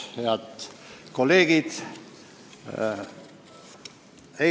Head kolleegid!